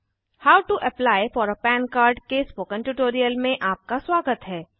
how to apply for a PAN card के spoken tutorial में आपका स्वागत है